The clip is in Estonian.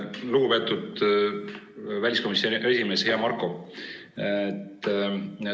Lugupeetud väliskomisjoni esimees, hea Marko!